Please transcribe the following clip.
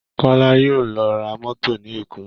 Kọ́lá yóò lọ ra mọ́tò ní Èkó